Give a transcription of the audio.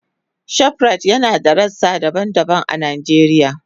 Shoprite yana da rassa daban-daban a Najeriya.